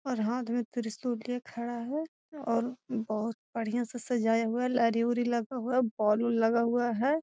और हाथ में त्रिशूल लिए खड़ा है और बहुत बढ़िया से सजाया हुआ लड़ी उड़ी लगा हुआ बल्ब उल्ब लगा हुआ है।